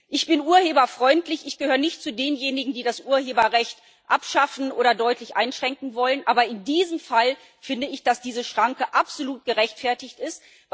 Ich bin urheberfreundlich ich gehöre nicht zu denjenigen, die das Urheberrecht abschaffen oder deutlich einschränken wollen aber in diesem Fall finde ich, dass diese Schranke absolut gerechtfertigt ist.